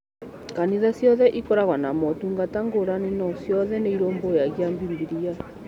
Kanitha ciothe ikoragwo na motungata ngũrani no ciothe nĩirũmbũyagia Bibilia.